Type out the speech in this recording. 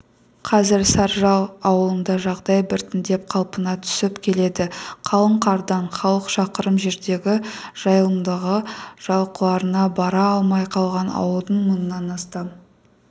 қазір саржал ауылында жағдай біртіндеп қалпына түсіп келеді қалың қардан халық шақырым жердегі жайылымдағы жылқыларына бара алмай қалған ауылдың мыңнан астам